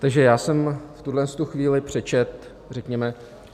Takže já jsem v tuto chvíli přečetl, řekněme...